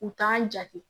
U t'an jate